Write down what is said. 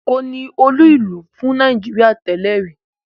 Èkó ni olú-ìlú fún Nàìjíríà tẹ́lẹ̀ rí.